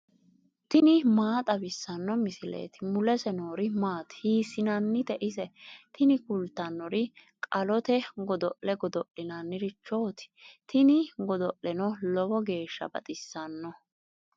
tini maa xawissanno misileeti ? mulese noori maati ? hiissinannite ise ? tini kultannori qolleete godo'le godo'linnirichooti tini godo'leno lowo geeshsha baxissanno.